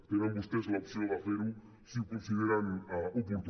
tenen vostès l’opció de fer ho si ho consideren oportú